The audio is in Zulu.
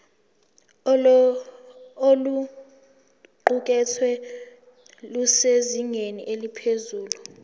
oluqukethwe lusezingeni eliphezulu